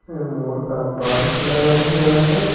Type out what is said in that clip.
में मोर का पंख लगा हुआ है।